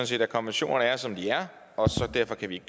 set at konventionerne er som de er og derfor kan vi